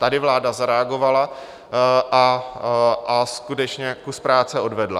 Tady vláda zareagovala a skutečně kus práce odvedla.